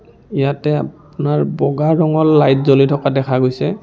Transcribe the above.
ইয়াতে আপোনাৰ বগা ৰঙৰ লাইট জ্বলি থকা দেখা গৈছে।